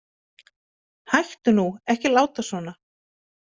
Hættu nú, ekki láta svona